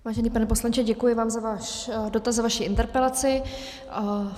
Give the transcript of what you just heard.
Vážený pane poslanče, děkuji vám za váš dotaz, za vaši interpelaci.